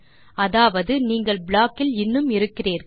அதாவது நீங்கள் ப்ளாக் இல் இன்னும் இருக்கிறீர்கள்